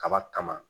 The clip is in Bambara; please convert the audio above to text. Kaba kama